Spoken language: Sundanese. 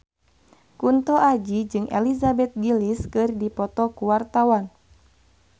Kunto Aji jeung Elizabeth Gillies keur dipoto ku wartawan